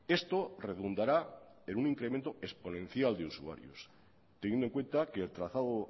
esto redundará en un incremento exponencial de usuarios teniendo en cuenta que el trazado